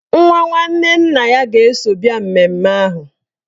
Nwa nwanne nna ya ga-eso bịa mmemme ahụ.